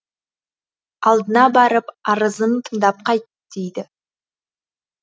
алдына барып арызын тыңдап қайт дейді